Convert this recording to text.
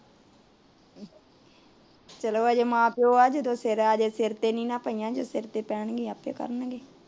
ਚਲੋ ਅਜੇ ਮਾਂ ਪਿਉ ਏ ਜਦੋ ਸਿਰ ਅਜੇ ਸਿਰ ਤੇ ਨਹੀਂ ਪਇਆ ਜਦੋ ਸਿਰ ਤੇ ਪੈਣ ਗਿਆ ਆਪੇ ਕਰਣਗੇ